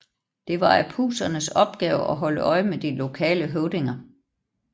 Det var Apusernes opgave at holde øje med de lokale høvdinger